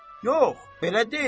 Yox, belə deyil.